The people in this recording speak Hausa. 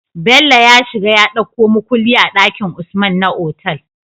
Bello ya shiga ya ɗauko mukulli a dakin usman na otal